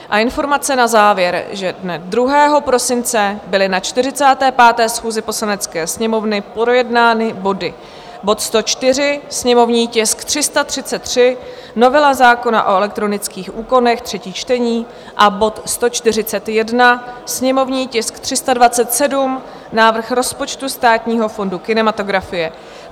A informace na závěr, že dne 2. prosince byly na 45. schůzi Poslanecké sněmovny projednány body: bod 104, sněmovní tisk 333, novela zákona o elektronických úkonech, třetí čtení, a bod 141, sněmovní tisk 327, návrh rozpočtu Státního fondu kinematografie.